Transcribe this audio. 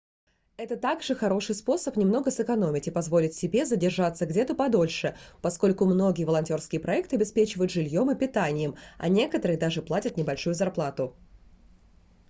это также хороший способ немного сэкономить и позволить себе задержаться где-то подольше поскольку многие волонтерские проекты обеспечивают жильем и питанием а некоторые даже платят небольшую зарплату